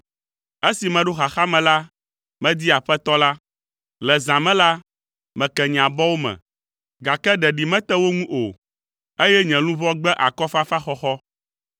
Esi meɖo xaxa me la, medi Aƒetɔ la; le zã me la, meke nye abɔwo me, gake ɖeɖi mete wo ŋu o, eye nye luʋɔ gbe akɔfafaxɔxɔ.